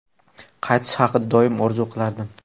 Qaytish haqida doim orzu qilardim.